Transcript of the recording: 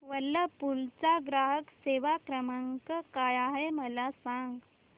Whirlpool चा ग्राहक सेवा क्रमांक काय आहे मला सांग